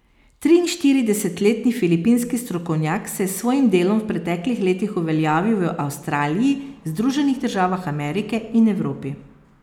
Triinštiridesetletni filipinski strokovnjak se je s svojim delom v preteklih letih uveljavil v Avstraliji, Združenih državah Amerike in Evropi.